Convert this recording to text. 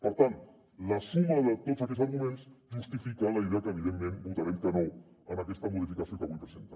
per tant la suma de tots aquests arguments justifica la idea que evidentment votarem que no a aquesta modificació que avui presenten